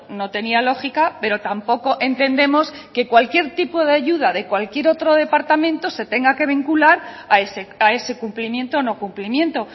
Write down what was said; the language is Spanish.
no tenía lógica pero tampoco entendemos que cualquier tipo de ayuda de cualquier otro departamento se tenga que vincular a ese cumplimiento o no cumplimiento